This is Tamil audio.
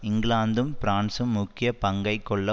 இங்கிலாந்தும் பிரான்சும் முக்கிய பங்கை கொள்ள